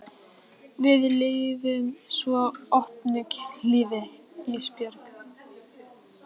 Við lifum svo opnu kynlífi Ísbjörg.